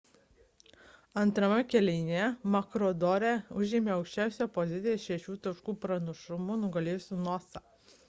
antrame kėlinyje maroochydore užėmė aukščiausias pozicijas šešių taškų pranašumu nugalėjusi noosa